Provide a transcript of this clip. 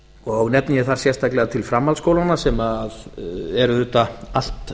og nefni ég þar sérstaklega til framhaldsskólana sem eru auðvitað allt